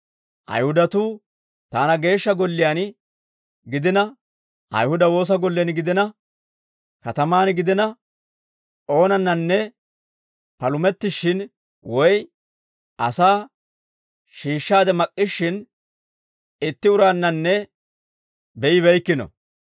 Ayihudatuu taana Geeshsha Golliyaan gidina, Ayihuda woosa gollen gidina, katamaan gidina, oonannanne palumettishshin woy asaa shiishshaade mak'k'ishshin, itti uraannanne be'ibeykkino.